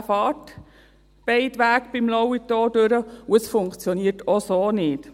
Er fährt beim Lauitor in beiden Richtungen durch, und es funktioniert auch so nicht.